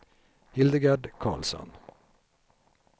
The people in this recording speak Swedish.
Hildegard Carlsson